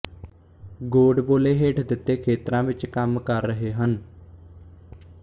ਗੋਡਬੋਲੇ ਹੇਠ ਦਿੱਤੇ ਖੇਤਰਾਂ ਵਿੱਚ ਕੰਮ ਕਰ ਰਹੇ ਹਨ